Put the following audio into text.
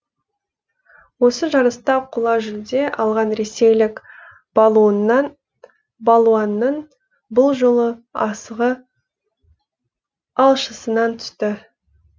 осы жарыста қола жүлде алған ресейлік балуанның бұл жолы асығы алшысынан түсті